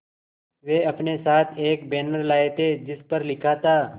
वे अपने साथ एक बैनर लाए थे जिस पर लिखा था